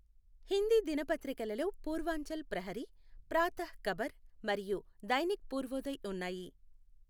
హిందీ దినపత్రికలలో పూర్వాంచల్ ప్రహరీ, ప్రాతః ఖబర్ మరియు దైనిక్ పూర్వోదయ్ ఉన్నాయి.